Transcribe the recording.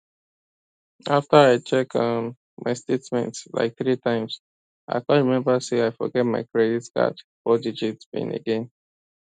after i check um my statement like three times i come remember say i forget my credit card fourdigit pin again